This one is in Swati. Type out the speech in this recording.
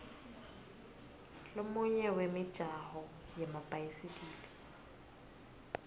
lomunye wemijaho yemabhayisikili